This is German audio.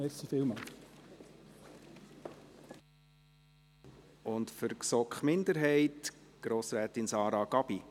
Für die GSoK-Minderheit gebe ich das Wort Grossrätin Sara Gabi.